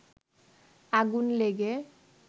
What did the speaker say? আগুন লেগে